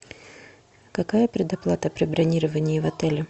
какая предоплата при бронировании в отеле